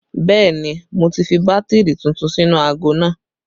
Bẹẹ ni, mo ti fi bátìrì tuntun sínú aago náà